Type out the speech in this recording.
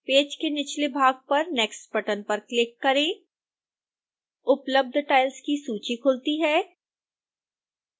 page के निचले भाग पर next बटन पर क्लिक करें उपलब्ध tiles की सूची खुलती है